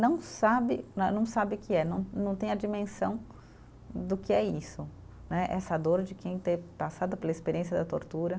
Não sabe né, não sabe o que é, não não tem a dimensão do que é isso né, essa dor de quem ter passado pela experiência da tortura.